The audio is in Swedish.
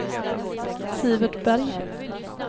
Sivert Berg